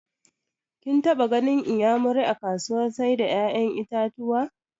Kin taɓa ganin inyamuri a kasuwar sai da ƴaƴan itatuwa?